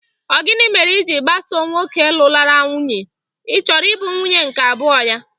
Ọ gini mere i ji agbaso nwoke lụrụla nwunye: ị chọrọ ị bụ nwunye nke abụo ya?